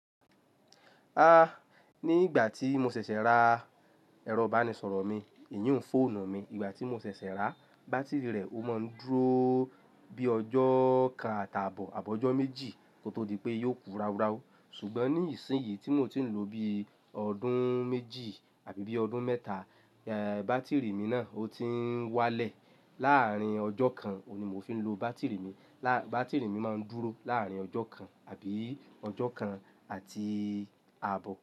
Ah, ní ìgbà tí mo ṣẹ̀ṣẹ̀ ra ẹ̀rọ ìbánisọ̀rọ̀ mi, èyí hun fòọ̀nu mi. Ìgbà tí mo ṣẹ̀ṣẹ̀ ra, bátìrì rẹ̀ ó máa ń dúró bíi ọjọ́ kan àtàbọ̀ àbọ̀ ọjọ́ méjì kó tó di pé yóò kú ráuráu. Ṣùgbọ́n ní ìsinsìnyí tí mò tí ń lò ó bíi ọdún méjì àbí bíi ọdún mẹ́ta, eeh, bátìrì mi náà ó ti ń wá lẹ̀. Láàárín ọjọ́ kan òun ní mo fi ń lo bátìrì mi. Lá-- bátìrì mi máa ń dúró láàrín ọjọ́ kan àbí ọjọ́ kan àti àbọ̀.